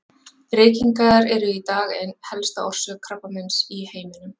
Reykingar eru í dag ein helsta orsök krabbameins í heiminum.